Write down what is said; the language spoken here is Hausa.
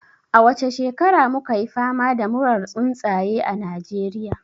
A wace shekara mu $ka yi fama da murar tsuntsaye a Najeriya?